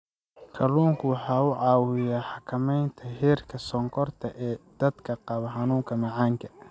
Kalluunku waxa uu caawiyaa xakamaynta heerka sonkorta ee dadka qaba xanuunka macaanka.